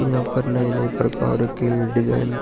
इयां पर नए-नए प्रकार के डिज़ाइन --